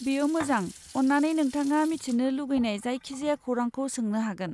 बेयो मोजां, अन्नानै नोंथाङा मिथिनो लुगैनाय जायखिजाया खौरांखौ सोंनो हागोन?